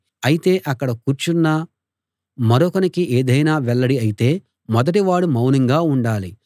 అయితే అక్కడ కూర్చున్న మరొకనికి ఏదైనా వెల్లడి అయితే మొదటివాడు మౌనంగా ఉండాలి